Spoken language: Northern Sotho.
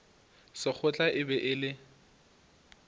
sekgotla e be e le